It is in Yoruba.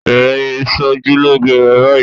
Bẹ̀rẹ̀ ìṣojúlóge rẹ báyìí!